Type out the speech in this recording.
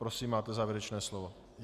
Prosím, máte závěrečné slovo.